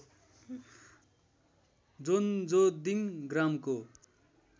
जोन्जोन्दिङ ग्रामको